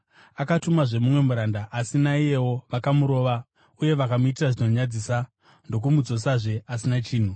Akatumazve mumwe muranda, asi naiyewo vakamurova uye vakamuitira zvinonyadzisa ndokumudzosazve asina chinhu.